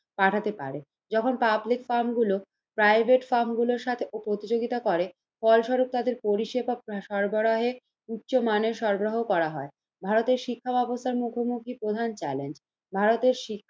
পাঠাতে পারে। তখন পাবলিক ফার্ম গুলো প্রাইভেট ফার্ম গুলোর সাথে প্রতিযোগিতা করে ফলস্বরূপ তাদের পরিসেবা সরবরাহের উচ্চমানের সরবরাহ করা হয়। ভারতের শিক্ষা ব্যবস্থার মুখোমুখি প্রধান চ্যালেঞ্জ ভারতের শি